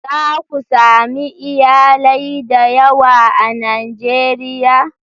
Za ku sami iyalai da yawa a Najeriya.